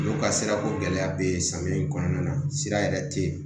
N'u ka sirako gɛlɛya bɛ samiya in kɔnɔna na sira yɛrɛ tɛ yen